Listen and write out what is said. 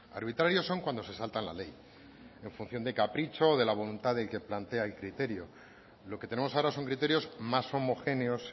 arbitrarios son cuando se saltan la ley en función de capricho de la voluntad del que plantea el criterio lo que tenemos ahora son criterios más homogéneos